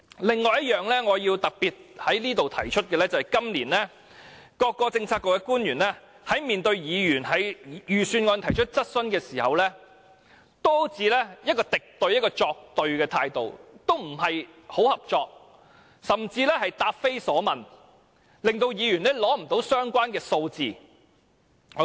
另一方面，我要特別在此指出，今年各政策局官員在面對議員就預算案提出的質詢時，均以一種敵對或作對的態度作出回應，似乎不太合作，甚至答非所問，令議員無法獲得相關數字。